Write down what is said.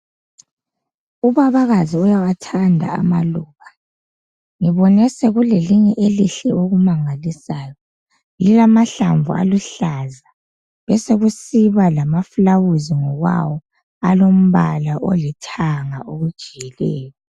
Ubabakazi uyawathanda amaluba ngibone sokulelinye elihle okumangalisayo lilamahlamvu aluhlaza besekusiba lamaflawuzi ngokwawo alombala olithanga okujiyileyo